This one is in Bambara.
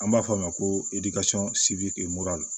An b'a fɔ a ma ko